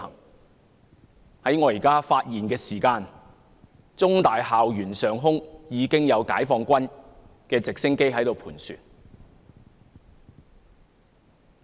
現在正當我發言的時候，香港中文大學的校園上空已經有解放軍的直升機在盤旋。